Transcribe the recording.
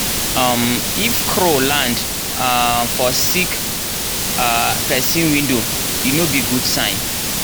um if crow land um for sick um person window e no be good sign.